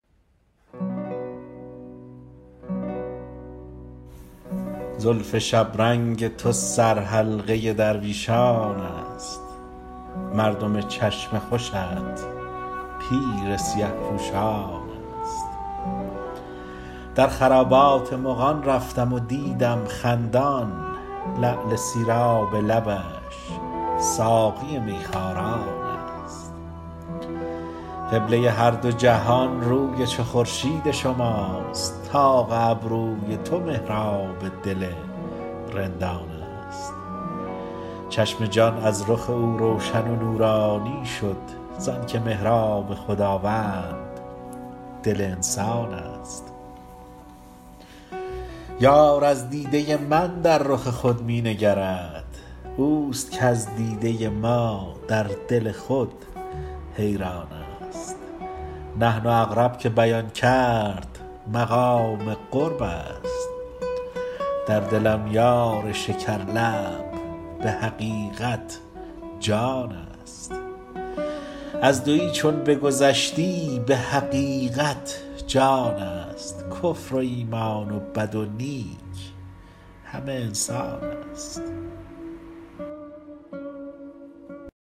زلف شبرنگ تو سر حلقه درویشان است مردم چشم خوشت پیر سیه پوشان است درخرابات مغان رفتم و دیدم خندان لعل سیراب لبش ساقی میخواران است قبله هر دو جهان روی چو خورشید شماست طاق ابروی تو محراب دل رندان است چشم جان از رخ او روشن و نورانی شد زانکه محراب خداوند دل انسان است یار از دیده ی من در رخ خود مینگرد او است کز دیده ما در دل خود حیران است نحن اقرب که بیان کرد مقام قرب است در دلم یار شکر لب بحقیقت جان است از دویی چون بگذشتی بحقیقت جانست کفر و ایمان و بد و نیک همه انسان است